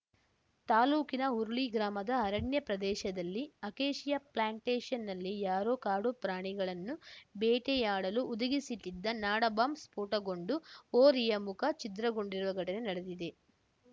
ತಾಲೂಕಿನ ಹುರುಳಿ ಗ್ರಾಮದ ಅರಣ್ಯ ಪ್ರದೇಶದಲ್ಲಿ ಅಕೇಶಿಯಾ ಪ್ಲಾಂಟೇಶನ್‌ನಲ್ಲಿ ಯಾರೋ ಕಾಡು ಪ್ರಾಣಿಗಳನ್ನು ಬೇಟೆಯಾಡಲು ಹುದುಗಿಸಿಟ್ಟಿದ್ದ ನಾಡ ಬಾಂಬ್‌ ಸ್ಫೋಟಗೊಂಡು ಹೋರಿಯ ಮುಖ ಛಿದ್ರಗೊಂಡಿರುವ ಘಟನೆ ನಡೆದಿದೆ